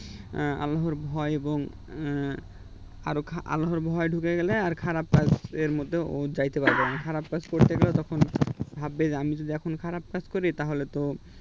হম আল্লাহর ভয় এবং এর আরো খারাপ আল্লাহর ভয় ঢুকে গেলে আর খারাপ কাজের মধ্যে ও যেতে পারবেনা খারাপ কাজ করতে গেলে তখন ভাববে যে আমি যদি এখন খারাপ কাজ করি তাহলে তো